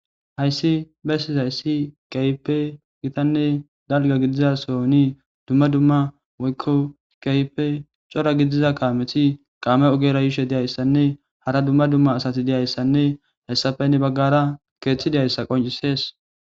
Hayssi bessizayssi keehippe gitanne dalgga gidida sohon dumma dumma woykko keehippe cora gidiza kaameti kaame ogera yishe diyayssanne hara dumma dumma asti diyayssanne hessappe hani baggara keeththi diyayssa qonccisees.